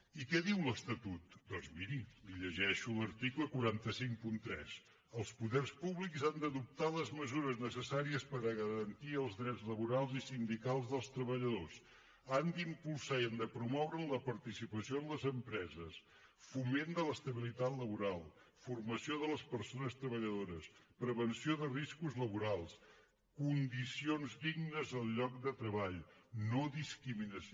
i què en diu l’estatut doncs miri li llegeixo l’article quatre cents i cinquanta tres els poders públics han d’adoptar les mesures necessàries per a garantir els drets laborals i sindicals dels treballadors han d’impulsar i han de promoure la participació amb les empreses foment de l’estabilitat laboral formació de les persones treballadores prevenció de riscos laborals condicions dignes al lloc de treball no discriminació